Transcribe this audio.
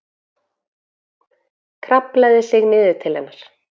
Kraflaði sig niður til hennar.